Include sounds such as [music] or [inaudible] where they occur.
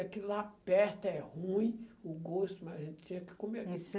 Aquilo lá perto é ruim, o gosto, mas a gente tinha que comer. [unintelligible]